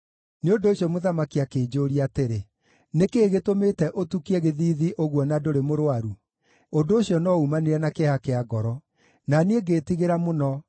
nĩ ũndũ ũcio mũthamaki akĩnjũũria atĩrĩ, “Nĩ kĩĩ gĩtũmĩte ũtukie gĩthiithi ũguo na ndũrĩ mũrũaru? Ũndũ ũcio no uumanire na kĩeha kĩa ngoro.” Na niĩ ngĩĩtigĩra mũno,